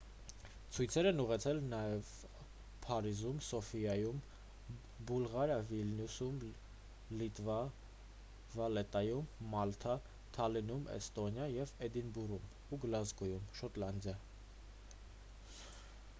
ցույցեր են տեղի ունեցել նաև փարիզում սոֆիայում բուլղարիա վիլնյուսում լիտվա վալետայում մալթա թալինում էստոնիա և էդինբուրգում ու գլազգոյում շոտլանդիա